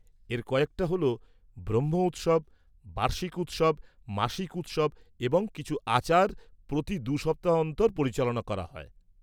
-এর কয়েকটা হলঃ ব্রহ্ম উৎসব, বার্ষিক উৎসব, মাসিক উৎসব এবং কিছু আচার প্রতি দু সপ্তাহ অন্তর পরিচালনা করা হয়।